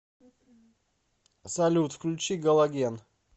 салют включи галоген